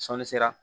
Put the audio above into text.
Sɔnni sera